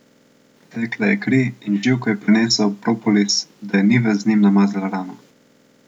Tekla je kri in Živko je prinesel propolis, da je Nives z njim namazala rano.